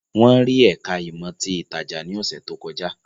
Wọ́n rí ẹ̀ká ìmọ̀ ti ìtajà ní ọ̀sẹ̀ tó kọjá